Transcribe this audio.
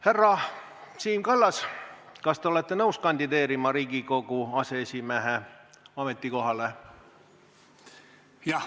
Härra Siim Kallas, kas te olete nõus kandideerima Riigikogu aseesimehe ametikohale?